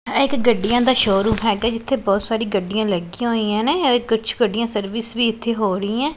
ਇਹ ਇੱਕ ਗੱਡੀਆਂ ਦਾ ਸ਼ੋਰੂਮ ਹੈਗਾ ਜਿੱਥੇ ਬਹੁਤ ਸਾਰੀ ਗੱਡੀਆਂ ਲੱਗੀਆਂ ਹੋਈਆਂ ਨੇਂ ਔਰ ਕੁੱਛ ਗੱਡੀਆਂ ਸਰਵਿਸ ਵੀ ਇੱਥੇ ਹੋ ਰਹੀ ਹੈਂ।